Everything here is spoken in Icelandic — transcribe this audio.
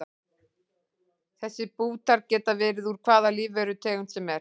Þessir bútar geta verið úr hvaða lífverutegund sem er.